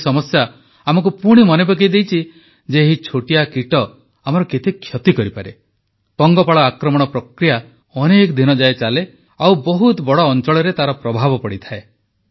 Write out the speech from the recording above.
ଏହି ସମସ୍ୟା ଆମକୁ ପୁଣି ମନେ ପକାଇଦେଇଛି ଯେ ଏହି ଛୋଟିଆ କୀଟ ଆମର କେତେ କ୍ଷତି କରିପାରେ ପଙ୍ଗପାଳ ଆକ୍ରମଣ ପ୍ରକ୍ରିୟା ଅନେକ ଦିନଯାଏ ଚାଲେ ଆଉ ବହୁତ ବଡ଼ ଅଂଚଳରେ ତାର ପ୍ରଭାବ ପଡ଼େ